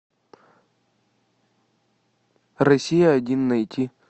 россия один найти